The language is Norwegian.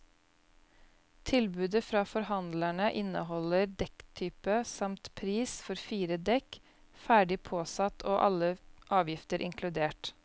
Tilbudet fra forhandlerne inneholder dekktype, samt pris for fire dekk ferdig påsatt og alle avgifter inkludert.